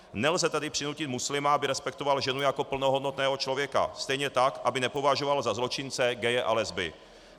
Nelze tedy přinutit muslima, aby respektoval ženu jako plnohodnotného člověka, stejně tak aby nepovažoval za zločince gaye a lesby.